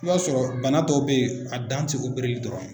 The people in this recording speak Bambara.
I b'a sɔrɔ bana dɔw bɛ ye a dan tɛ opereli dɔrɔn ye.